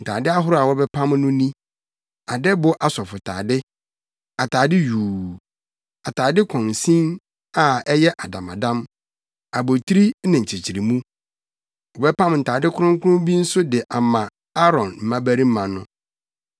Ntade ahorow a wɔbɛpam no ni: adɛbo asɔfotade, atade yuu, atade kɔnsin a ɛyɛ adamadam, abotiri ne nkyekyeremu. Wɔbɛpam ntade kronkron bi nso de ama Aaron mmabarima no.